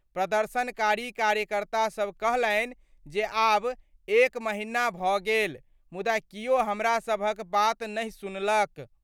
प्रदर्शनकारी कार्यकर्ता सब कहलनि जे आब एक महीना भ' गेल मुदा कियो हमरा सबहक बात नहि सुनलक।